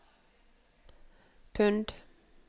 pund